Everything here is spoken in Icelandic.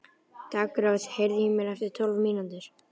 Daggrós, heyrðu í mér eftir tólf mínútur.